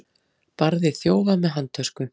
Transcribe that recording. Barði þjófa með handtösku